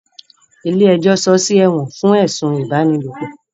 Ilé ẹjọ́ sọọ́ sí ọ̀gbà ẹ̀wọ̀n fún ẹ̀sùn ipábánilòpọ̀.